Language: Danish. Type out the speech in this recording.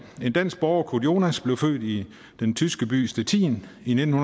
en dansk borger kurt jonas blev født i den tyske by stettin i nitten